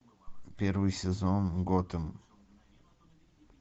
первый сезон готэм